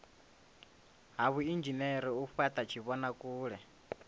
ha vhuinzhinere u fhata tshivhonakule